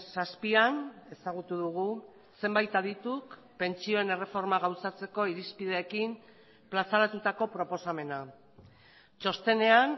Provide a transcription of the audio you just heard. zazpian ezagutu dugu zenbait adituk pentsioen erreforma gauzatzeko irizpideekin plazaratutako proposamena txostenean